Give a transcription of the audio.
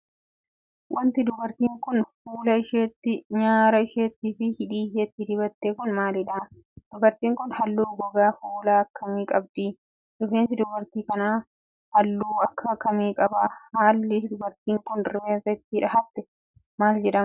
Wanti dubartiin kun ,ffuula isheetti, nyaara isheetti fi hidhii isheetti dibatte kun maaliidha? Dubartiin kun haalluu gogaa fuulaa akka kamii qabdi? Rifeensi dubartii kanaa ,haalluu akka kamii qaba? Halli dubartiin kun rifeensa itti dhahatte maal jedhama?